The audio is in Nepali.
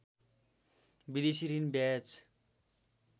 विदेशी ऋण ब्याज